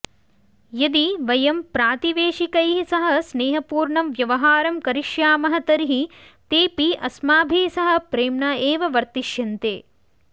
यदि वयं प्रातिवेशिकैः सह स्नेहपूर्णं व्यवहारं करिष्यामः तर्हि तेऽपि अस्माभिः सह प्रेम्णा एव वर्तिष्यन्ते